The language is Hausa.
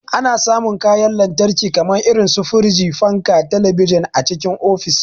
Ana samun kayan lantarki kamar su firiji, fanka, talabijin a cikin ofis.